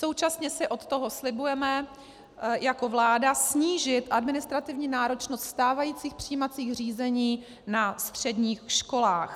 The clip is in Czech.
Současně si od toho slibujeme jako vláda snížit administrativní náročnost stávajících přijímacích řízení na středních školách.